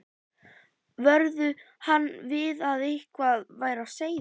vöruðu hann við að eitthvað væri á seyði.